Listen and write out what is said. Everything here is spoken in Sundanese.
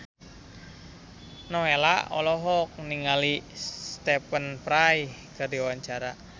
Nowela olohok ningali Stephen Fry keur diwawancara